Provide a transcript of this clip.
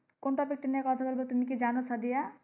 কোন topic টা নিয়ে কথা বলব তুমি কি জানো সাদিয়া?